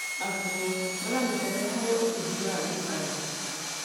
Arutwo maranyitanĩra harĩ ũthuthuria wa gĩcayanci.